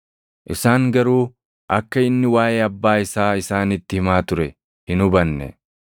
Isaan garuu akka inni waaʼee Abbaa isaa isaanitti himaa ture hin hubanne.